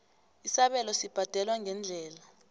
isabelo sibhadelwa ngeendlela